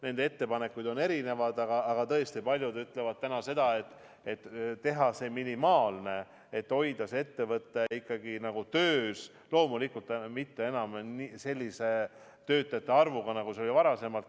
Neil on erinevaid ettepanekuid, aga tõesti, paljud ütlevad täna seda, et tuleb teha see minimaalne, et ettevõtted ikkagi töös hoida – loomulikult mitte enam sellise töötajate arvuga, nagu see oli varasemalt.